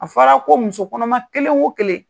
A fɔra ko muso kɔnɔma kelen o kelen.